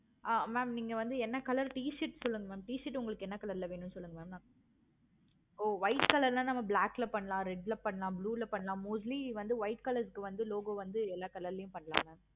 ஆஹ் mam நீங்க வந்து என்ன color t-shirt சொல்லுங்க mam t-shirt உங்களுக்கு என்ன color ல வேணும் சொல்லுங்க mam oh white color ல black ல பண்ணலாம். red ல பண்ணலாம். blue ல பண்ணலாம். mostly வந்து white color வந்து logo வந்து எல்லா color ளையும் பண்ணலாம் ma'am